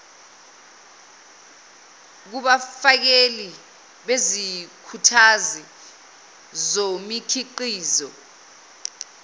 kubafakeli bezikhuthazi zomikhiqizo